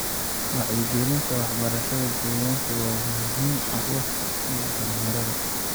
Wacyigelinta waxbarashada deegaanka waa muhiim caruurta iyo dhalinyarada.